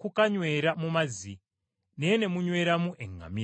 kukanywera mu mazzi, naye ne munyweramu eŋŋamira!